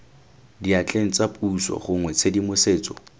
diatleng tsa puso gongwe tshedimosetso